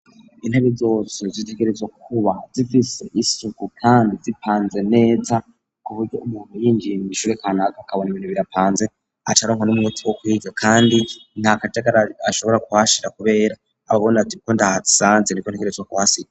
Intebe zose zitegerezwa kuba zifise isuku kandi zipanze neza kuburyo umuntu yinjiye mw'ishure kanaka akabona ibintu birapanze acaronka n'umwete wo kwiga kandi nta kajagari ashobora kuhashira kubera aba abona ati uko ndahasanze niko ntegerezwa kuhasiga.